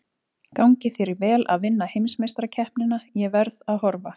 Gangi þér vel að vinna heimsmeistarakeppnina, ég verð að horfa.